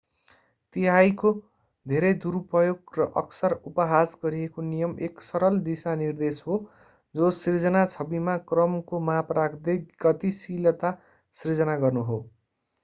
तिहाइको धेरै-दुरुपयोग र अक्सर-उपहास गरिएको नियम एक सरल दिशानिर्देश हो जो सिर्जना छविमा क्रमको माप राख्दै गतिशीलता सृजना गर्नु हो